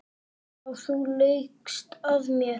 Já, þú laugst að mér.